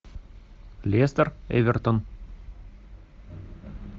лестер эвертон